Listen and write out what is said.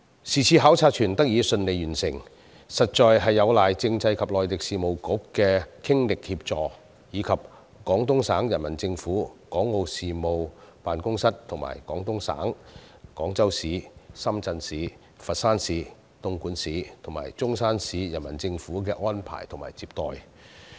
是次考察團得以順利完成，實在有賴政制及內地事務局的傾力協助，以及廣東省人民政府港澳事務辦公室和廣東省、廣州市、深圳市、佛山市、東莞市及中山市人民政府的安排及接待。